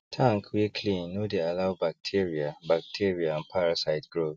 tank wey clean no dey allow bacteria bacteria and parasite grow